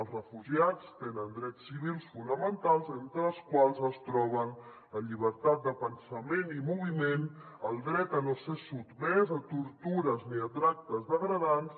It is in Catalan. els refugiats tenen drets civils fonamentals entre els quals es troben la llibertat de pensament i moviment el dret a no ser sotmès a tortures ni a tractes degradants